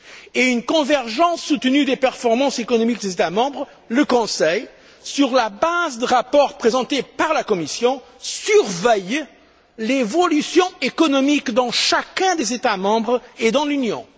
et une convergence soutenue des performances économiques des États membres, le Conseil, sur la base de rapports présentés par la Commission, surveille l'évolution économique dans chacun des États membres et dans l'Union.